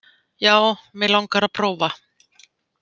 Já, mig langar að prófa.